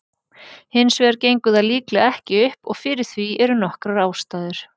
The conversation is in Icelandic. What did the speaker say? Hins vegar gengur það líklega ekki upp og fyrir því eru nokkrar ástæður.